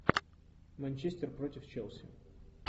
манчестер против челси